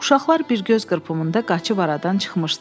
Uşaqlar bir göz qırpımında qaçıb aradan çıxmışdılar.